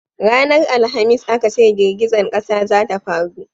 ranar alhamis a ka ce girgizan ƙasa za ta faru